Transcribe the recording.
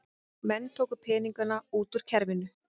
Menn tóku peninga út úr kerfinu